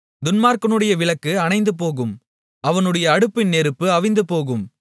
துன்மார்க்கனுடைய விளக்கு அணைந்துபோகும் அவனுடைய அடுப்பின் நெருப்பும் அவிந்துபோகும்